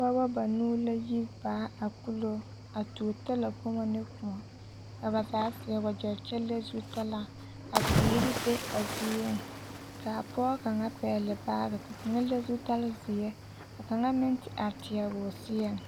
pɔgebɔ banuu la yi baa a kulo a tuo talakpomo ne kõɔ, ka ba zaa seɛ wegyɛ kyɛ le zutalaa ka teere be a zieŋ k'a pɔge kaŋ pɛgele baagi kyɛ le zutalzeɛ ka kaŋa meŋ te are teɛ o seɛŋ.